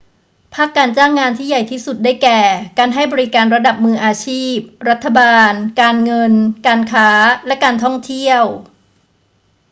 ภาคการจ้างงานที่ใหญ่ที่สุด ได้แก่ การให้บริการระดับมืออาชีพ รัฐบาล การเงิน การค้า และการท่องเที่ยว